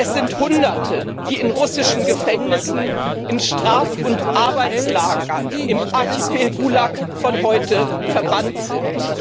Es sind Hunderte, die in russischen Gefängnissen, in Straf und Arbeitslagern im Archipel Gulag von heute verbannt sind.